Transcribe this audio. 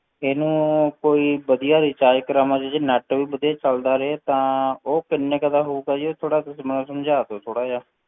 ਇਹਨੂੰ ਕੋਈ ਵਧੀਆ recharge ਕਰਾਵਾਂ ਜਿਹਦੇ ਵਿੱਚ net ਵੀ ਵਧੀਆ ਚੱਲਦਾ ਰਹੇ ਤਾਂ ਉਹ ਕਿੰਨੇ ਕੁ ਦਾ ਹੋਊਗਾ ਜੀ ਉਹ ਥੋੜ੍ਹਾ ਮੈਨੂੰ ਸਮਝਾ ਦਿਓ ਥੋੜ੍ਹਾ ਜਿਹਾ।